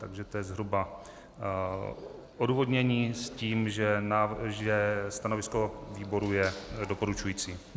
Takže to je zhruba odůvodnění s tím, že stanovisko výboru je doporučující.